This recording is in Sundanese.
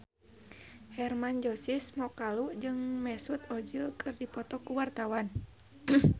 Hermann Josis Mokalu jeung Mesut Ozil keur dipoto ku wartawan